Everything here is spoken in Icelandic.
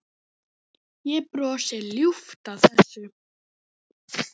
Ég brosi ljúft að þessu.